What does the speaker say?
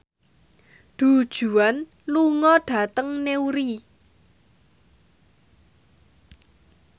Du Juan lunga dhateng Newry